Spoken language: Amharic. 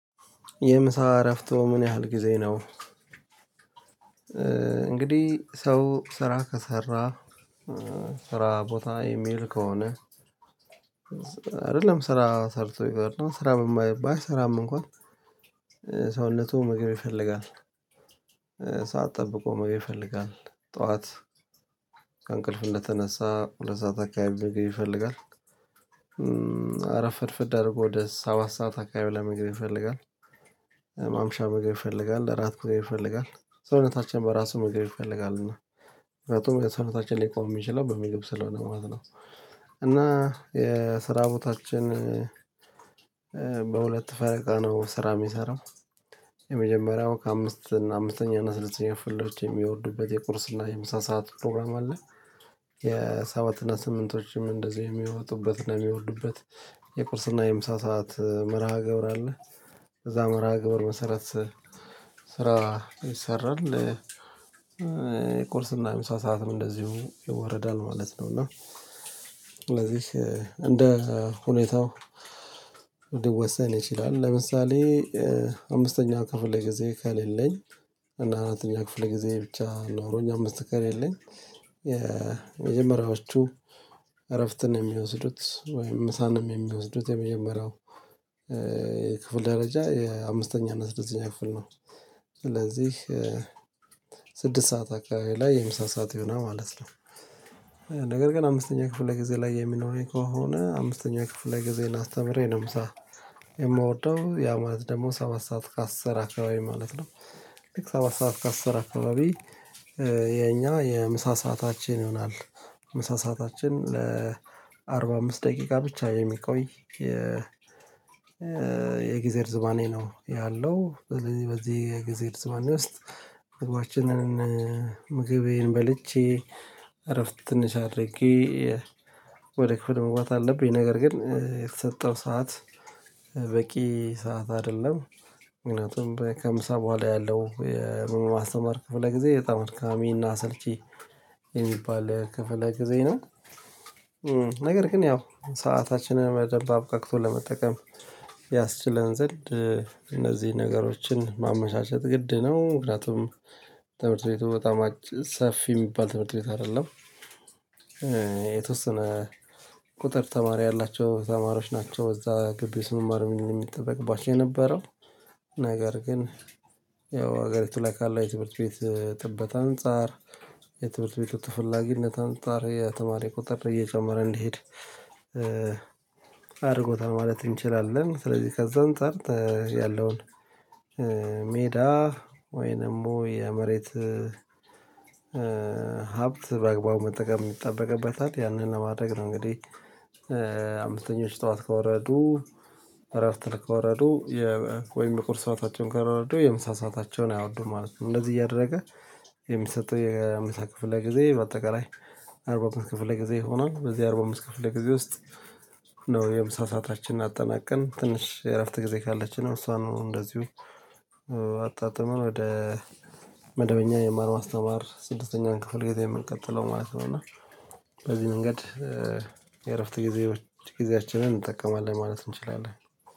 የምሳ እረፍት ምን ያህል ጊዜ ነው? እንግዲህ ሰው ስራ ከሰራ ስራ ቦታ ኢሜል ከሆነ አይደለም ስራ ሰርቶ ይቅርና ስራ ባይ ስራም እንኳን ሰውነቱን ምግብ ይፈልጋል። ሰዓት ጠብቆ ምግብ ይፈልጋል ጠዋት ከእንቅልፍ እንደተነሳ ሁለት ሰዓት አካባቢ ምግብ ይፈልጋል። አረፍድፍድ አድርጎ ወደ ሰባት ሰዓት አካባቢ ምግብ ይፈልጋል። ምግብ ይፈልጋል እራት ይፈልጋል ሰውነታችን በራሱ ምግብ ይፈልጋል እና ምክንያቱም ሰውነታችን ሊቆም የሚችለው በምግብ ስለሆነ ማለት ነው። እና የስራ ቦታችን በሁለት ፈረቃ ነው ስራ የሚሰራው። የመጀመሪያው ከአምስት አምስተኛ ስድስተኛ ፍልደሮች የሚወርዱበት የቁርስ እና የምሳ ሰዓት ፕሮግራም አለ። የሰባት እና ስምንቶችም እንደዚሁ የሚወጡበትና የሚወዱበት ቁርስና የምሳ ሰዓት መርሃ ገብር አለ። እዛ መርሃ ገብር መሰረት ስራ ይሰራል። የቁርስና የምሳ ሰዓትም እንደዚሁ ይወረዳል ማለት ነው። እና ስለዚህ እንደ ሁኔታው ሊወሰን ይችላል። ለምሳሌ አምስተኛ ክፍል ጊዜ ከሌለኝ እና አራተኛ ክፍል ጊዜ ብቻ ኖሮኝ አምስት ከሌለኝ የመጀመሪያዎቹ እረፍትን የሚወስዱት ወይም ምሳንም የሚወስዱት የመጀመሪያው ክፍል ደረጃ የአምስተኛ እና ስድስተኛ ክፍል ነው። ስለዚህ ስድስት ሰዓት አካባቢ ላይ የምሳ ሰዓት ይሆናል ማለት ነው። ነገር ግን አምስተኛ ክፍለ ጊዜ ላይ የሚኖረኝ ከሆነ አምስተኛ ክፍለ ጊዜን አስተምሬ ነው ምሳ የምወደው ያ ማለት ደግሞ ሰባት ሰዓት ከአስር አካባቢ ማለት ነው። ሰባት ሰዓት ከአስር አካባቢ የኛ የምሳ ሰዓታችን ይሆናል። ምሳ ሰዓታችን ለአርባ አምስት ደቂቃ ብቻ የሚቆይ የ የጊዜ እርዝማኔ ነው። ያለው ስለዚህ በዚህ ጊዜ እርዝማኔ ውስጥ ምግባችንን ምግቤን በልቼ እረፍት ትንሽ አድርጌ ወደ ክፍል መግባት አለብኝ። ነገር ግን የተሰጠው ሰዓት በቂ ሰዓት አይደለም። ምክንያቱም ከምሳ በኋላ ያለው የማስተማር ክፍለ ጊዜ በጣም አድካሚና አሰልቺ የሚባል ክፍለ ጊዜ ነው። ነገር ግን ያው ሰአታችንን በደንብ አብቃቅቶ ለመጠቀም ያስችለን ዘንድ እነዚህን ነገሮችን ማመቻቸት ግድ ነው። ምክንያቱም ትምህርት ቤቱ በጣም ሰፊ የሚባል ትምህርት ቤት አይደለም። የተወሰነ ቁጥር ተማሪ ያላቸው ተማሪዎች ናቸው እዛ ገቢ መማር ምን የሚጠበቅባቸው የነበረው ነገር ግን ያው ሀገሪቱ ላይ ካለ የትምህርት ቤት ጥበት አንፃር የትምህርት ቤቱ ተፈጊነት አንፃር የተማሪ ቁጥር እየጨመረ እንዲሄድ አድርጎታል ማለት እንችላለን። ስለዚህ ከዛም አንፃር ያለውን ሜዳ ወይንም የመሬት ሀብት በአግባቡ መጠቀም ይጠበቅበታል። ያንን ለማድረግ ነው እንግዲህ አምስተኞች ጠዋት ከወረዱ ወረዱ ወይም ቁርሰናታቸውን ከረርዱ የምሳ ሰአታቸውን አይወዱም ማለት ነው። እንደዚህ እያደረገ የሚሰጠው የምሳ ክፍለ ጊዜ በአጠቃላይ አርባ አምስት ክፍለ ጊዜ ይሆናል። በዚህ አርባ አምስት ክፍለ ጊዜ ውስጥ ነው የምሳ ሰአታችንን አጠናቀን ትንሽ እረፍት ጊዜ ካለችን ነው እሷ ነው እንደዚሁ። አጣጥመን ወደ መደበኛ የማር ማስተማር ስድስተኛን ክፍል ጌታ የምንቀጥለው ማለት ነው። እና በዚህ መንገድ የእረፍት ጊዜ ጊዜያችንን እንጠቀማለን ማለት እንችላለን